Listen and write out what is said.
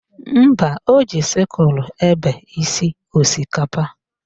Mba, o ji sịkulụ ebe isi osikapa